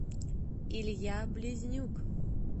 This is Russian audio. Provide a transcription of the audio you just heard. илья близнюк